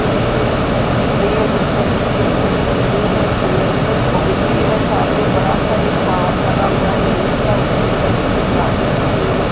ये एक छत बन रही है जिस पर रेत और सीमेंट है और गिट्टी है सामने बड़ा सा एक पहाड़ लगा हुआ है रेत का उसके बगल से कुछ गाड़ियां रखी हुई हैं।